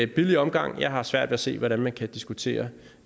billig omgang jeg har svært ved at se hvordan man kan diskutere